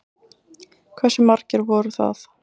Hversu margir voru það?